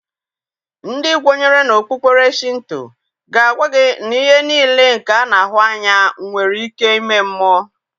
Ndị kwenyere na okpukpere Shịnto ga-aga gị na ihe niile nke a na-ahụ anya nwere ike ime mmụọ.